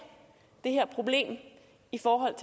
det her problem i forhold